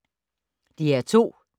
DR2